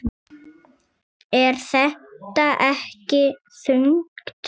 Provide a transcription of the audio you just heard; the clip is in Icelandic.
Er þetta ekki þungt?